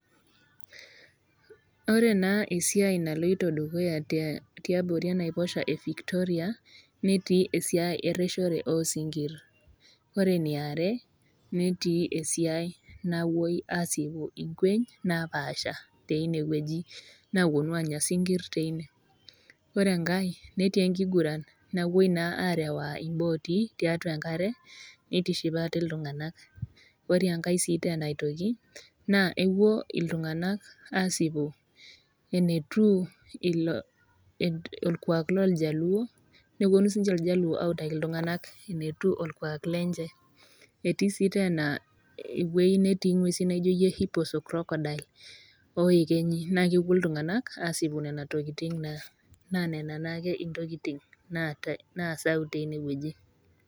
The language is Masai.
Ore naa esiai naloito dukuya tiabori enaiposha e Victoria, netii esiai ereshore oo isinkir. Ore ene are netii esiai napuoi aasipu inkweny napaasha teine wueji naapuonu aanya isinkir teine, ore enkai netii naa enkiguran napuoi naa arewaa imbooti, tiatua enkare neitiship aate iltung'ana. Ore enkai sii teena aitoki, naa epuo iltung'anak aasipu eneitiu olkwaak looljaluo, nepuonu sii ninche iljaluo aautaki iltung'anak enetiu olkwaak lenye. Etii sii teena ewueji natii ing'uesi naijoyie Hippos o Crocodile o iekenyi, naa kepuo iltung'ana aasipu nena tokitin naa, naa nena intokitin naasayu tteine wueji.